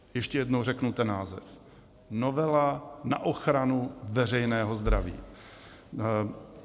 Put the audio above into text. Ještě jednou řeknu ten název: novela na ochranu veřejného zdraví.